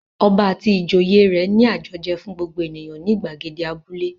Ọba àti ìjòyè rẹ̀ ní àjọjẹ fún gbogbo ènìyàn ní ìgbàgede abúlé.